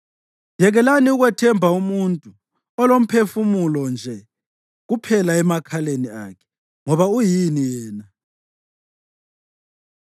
Yekelani ukwethemba umuntu olomphefumulo nje kuphela emakhaleni akhe. Ngoba uyini yena na?